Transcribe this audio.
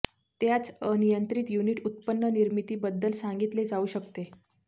त्याच अनियंत्रित युनिट उत्पन्न निर्मिती बद्दल सांगितले जाऊ शकते